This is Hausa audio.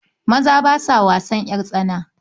Maza ba sa wasan ƴartsana.